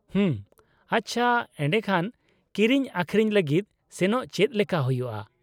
-ᱦᱩᱢ, ᱟᱪᱪᱷᱟ, ᱮᱰᱮᱠᱷᱟᱱ ᱠᱤᱨᱤᱧ ᱟᱹᱠᱷᱨᱤᱧ ᱞᱟᱹᱜᱤᱫ ᱥᱮᱱᱚᱜ ᱪᱮᱫ ᱞᱮᱠᱟ ᱦᱩᱭᱩᱭᱼᱟ ?